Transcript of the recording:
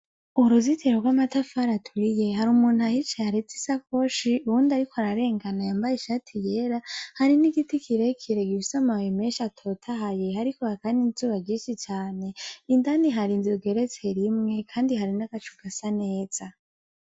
Uruzitiro rw'amatafari aturiye hari umuntu ahicaye areze isakoshi uwundi ariko ararengana yambaye ishati yera hari nigiti kirekire gifise amababi menshi atotahaye hariko haraka nizuba ryinshi cane indani har'inzu igeretse rimwe kandi hari nagacu gasa neza.